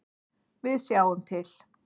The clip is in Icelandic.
Við sjáum til.